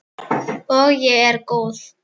Og ég er góð.